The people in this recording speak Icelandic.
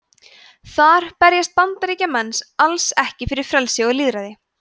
þar berjast bandaríkjamenn alls ekki fyrir frelsi og lýðræði